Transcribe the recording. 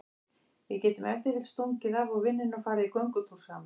Við getum ef til vill stungið af úr vinnunni og farið í göngutúr saman.